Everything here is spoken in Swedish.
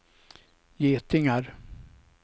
getingar